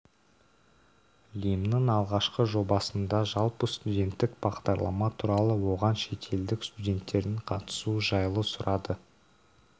лимннің алғашқы жобасында жалпы студенттік бағдарлама туралы оған шетелдік студенттердің қатысуы жайлы сұрады